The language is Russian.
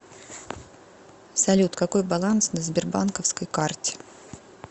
салют какой баланс на сбербанковской карте